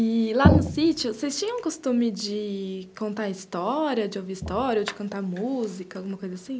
E, lá no sítio, vocês tinham o costume de contar história, de ouvir história ou de cantar música, alguma coisa assim?